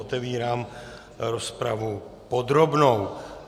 Otevírám rozpravu podrobnou.